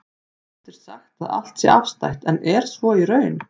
Oft er sagt að allt sé afstætt, en er svo í raun?